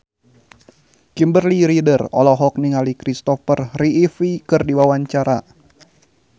Kimberly Ryder olohok ningali Christopher Reeve keur diwawancara